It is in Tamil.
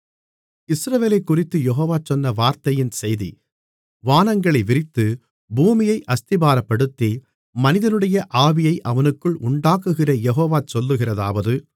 இஸ்ரவேலைக்குறித்துக் யெகோவா சொன்ன வார்த்தையின் செய்தி வானங்களை விரித்து பூமியை அஸ்திபாரப்படுத்தி மனிதனுடைய ஆவியை அவனுக்குள் உண்டாக்குகிற யெகோவா சொல்லுகிறதாவது